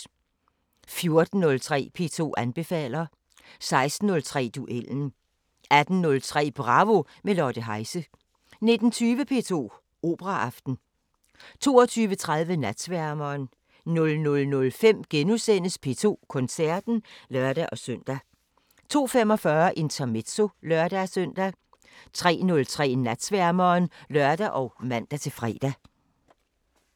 14:03: P2 anbefaler 16:03: Duellen 18:03: Bravo – med Lotte Heise 19:20: P2 Operaaften 22:30: Natsværmeren 00:05: P2 Koncerten *(lør-søn) 02:45: Intermezzo (lør-søn) 03:03: Natsværmeren (lør og man-fre)